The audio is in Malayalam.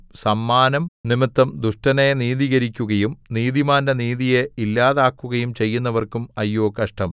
സമ്മാനം നിമിത്തം ദുഷ്ടനെ നീതീകരിക്കുകയും നീതിമാന്റെ നീതിയെ ഇല്ലാതാക്കുകയും ചെയ്യുന്നവർക്കും അയ്യോ കഷ്ടം